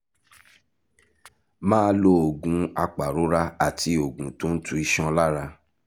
máa lo oògùn apàrora àti oògùn tó ń tu iṣan lára